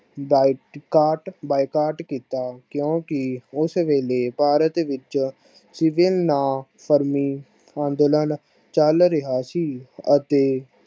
ਬਾਈਬਾਈਕਾਟ ਕੀਤਾ ਕਿਉਂਕਿ ਉਸ ਵੇਲੇ ਭਾਰਤ ਵਿੱਚ ਸਗੁਨ ਨਾ ਪਰਮੀ ਅੰਦੋਲਨ ਚੱਲ ਰਿਹਾ ਸੀ ਅਤੇ